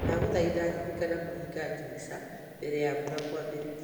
ndagũthaitha rĩrĩkana kũhinga ndirica mbere ya mbura kwambĩrĩria